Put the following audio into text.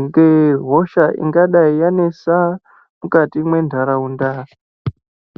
ngehosha ingadai yanesa mukati mwendaraunda.